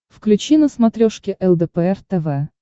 включи на смотрешке лдпр тв